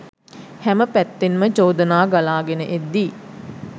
හැම පැත්තෙන්ම චෝදනා ගලා ගෙන එද්දී